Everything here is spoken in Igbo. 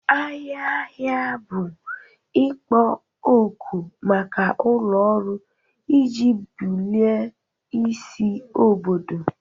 Ahịa ahịa bụ ikpo okwu maka ụlọ ọrụ iji bulie isi obodo.